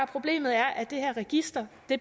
problemet er at det her register